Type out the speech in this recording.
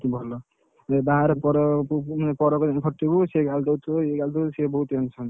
ଭଲ। ଯଦି ବାହାରେ ପର